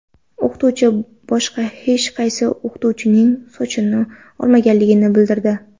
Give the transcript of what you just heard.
O‘qituvchi boshqa hech qaysi o‘quvchining sochini olmaganligini bildirdi.